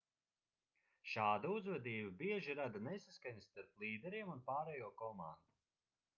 šāda uzvedība bieži rada nesaskaņas starp līderiem un pārējo komandu